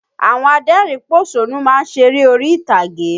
Àwọn adẹ́rìn-ín pòṣónú má ń ṣeré orí-ìtàgé